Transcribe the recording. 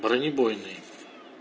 бронебойные